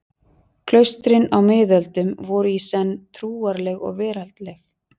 Klaustrin á miðöldum voru í senn trúarleg og veraldleg.